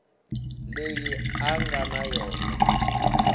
leyi a nga na yona